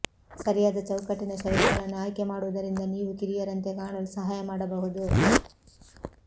ಸರಿಯಾದ ಚೌಕಟ್ಟಿನ ಶೈಲಿಗಳನ್ನು ಆಯ್ಕೆ ಮಾಡುವುದರಿಂದ ನೀವು ಕಿರಿಯರಂತೆ ಕಾಣಲು ಸಹಾಯ ಮಾಡಬಹುದು